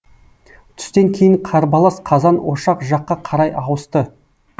түстен кейін қарбалас қазан ошақ жаққа қарай ауысты